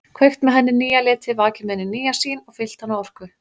Kveikt með henni nýja liti, vakið með henni nýja sýn og fyllt hana orku.